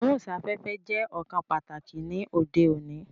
Ìgbóhùn sáfẹ́fẹ́ jẹ́ ọ̀kan pàtàkì ni òde òní